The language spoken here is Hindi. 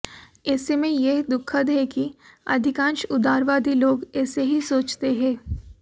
ऐसे में यह दुखद है कि अधिकांश उदारवादी लोग ऐसे ही सोचते हैं